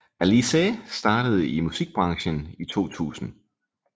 Alizée startede i musikbranchen i 2000